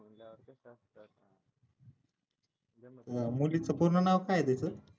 मुलीचे पूर्ण नाव काय आहे तसं